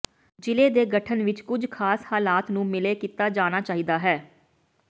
ਜ਼ਿਲ੍ਹੇ ਦੇ ਗਠਨ ਵਿਚ ਕੁਝ ਖਾਸ ਹਾਲਾਤ ਨੂੰ ਮਿਲੇ ਕੀਤਾ ਜਾਣਾ ਚਾਹੀਦਾ ਹੈ